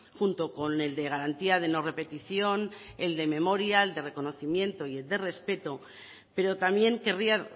junto con el de garantía de no repetición el de memoria el de reconocimiento y el de respeto pero también querría